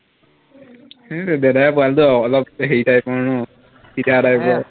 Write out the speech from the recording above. হম তোৰ দাদাই পোৱা হলেতো অলপ হেৰি type ৰ ন পিটা type ৰ